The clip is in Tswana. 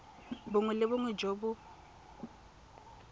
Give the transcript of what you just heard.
bongwe le bongwe jo bo